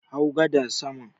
Hau gadar saman